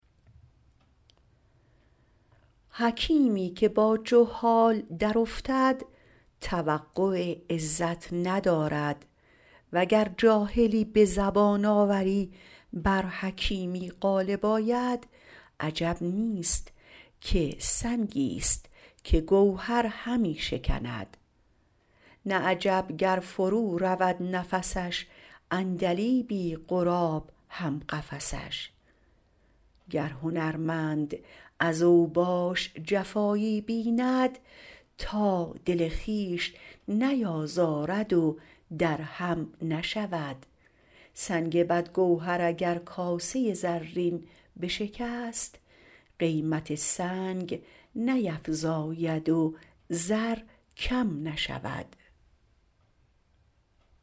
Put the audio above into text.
حکیمی که با جهال درافتد توقع عزت ندارد وگر جاهلی به زبان آوری بر حکیمی غالب آید عجب نیست که سنگی ست که گوهر همی شکند نه عجب گر فرو رود نفسش عندلیبی غراب هم قفسش گر هنرمند از اوباش جفایی بیند تا دل خویش نیازارد و در هم نشود سنگ بد گوهر اگر کاسه زرین بشکست قیمت سنگ نیفزاید و زر کم نشود